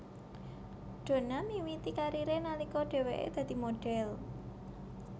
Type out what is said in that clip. Donna miwiti kariré nalika dheweke dadi modhél